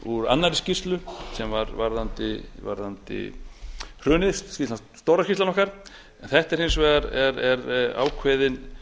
úr annarri skýrslu sem var um hrunið stóra skýrslan okkar en þetta er hins vegar ákveðinn